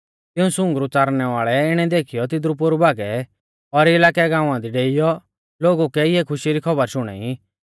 तिऊं सुंगरु च़ारणै वाल़ै इणै देखीयौ तिदरु पोरु भागै और इलाकै गाँवा दी डेइयौ लोगु कै इऐ खुशी री खौबर शुणाई